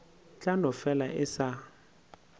tla no fela e sa